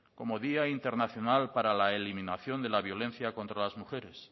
como día internacional para la eliminación de la violencia contra las mujeres